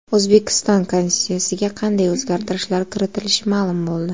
O‘zbekiston Konstitutsiyasiga qanday o‘zgartirishlar kiritilishi ma’lum bo‘ldi.